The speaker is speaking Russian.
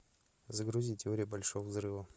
загрузи теорию большого взрыва